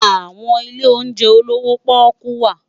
Awòn ilé óunjè ólowò pòkú wá